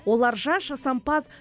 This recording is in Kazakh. олар жас жасампаз